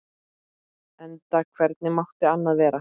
Enda hvernig mátti annað vera?